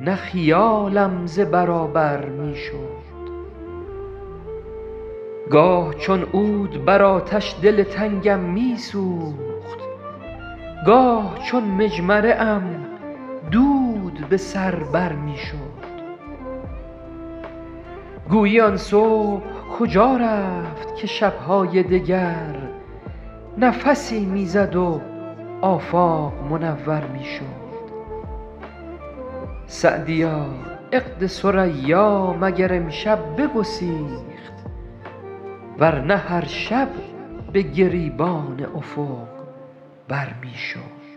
نه خیالم ز برابر می شد گاه چون عود بر آتش دل تنگم می سوخت گاه چون مجمره ام دود به سر بر می شد گویی آن صبح کجا رفت که شب های دگر نفسی می زد و آفاق منور می شد سعدیا عقد ثریا مگر امشب بگسیخت ور نه هر شب به گریبان افق بر می شد